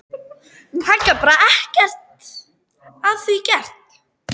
Hann gat bara ekkert að því gert.